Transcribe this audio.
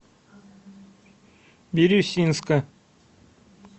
бирюсинска